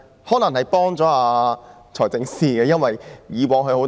可能幫了財政司司長一把。